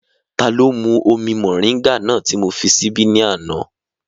Taló mú omi mọ̀ríńgà náà ti mó fi síbí ní àná?